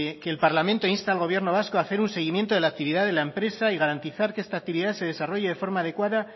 que el parlamento insta al gobierno vasco a hacer un seguimiento de la actividad de la empresa y garantizar que esta actividad se desarrolle de forma adecuada